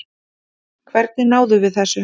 Hvernig náðum við þessu?